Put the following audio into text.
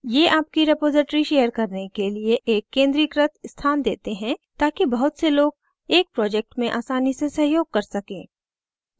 ये आपकी repository share करने के लिए एक केंद्रीकृत स्थान देते हैं ताकि बहुत से लोग एक project में आसानी से सहयोग कर सकें